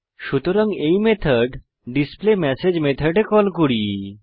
সুতরাং এই method display message মেথডে কল করি